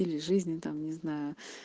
или жизни там не знаю